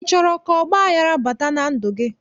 Ị chọrọ ka ọgbaghara bata na ndụ gị?